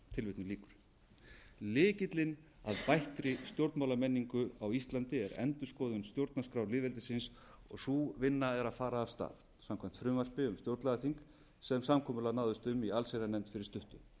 valdhafa lykillinn að bættri stjórnmálamenningu á íslandi er endurskoðun stjórnarskrár lýðveldisins sú vinna er að fara af stað samkvæmt frumvarpi um stjórnlagaþing sem samkomulag náðist um í allsherjarnefnd fyrir stuttu